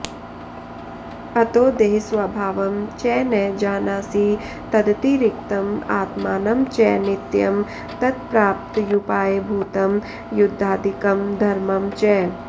अतो देहस्वभावं च न जानासि तदतिरिक्तम् आत्मानं च नित्यम् तत्प्राप्त्युपायभूतं युद्धादिकं धर्मं च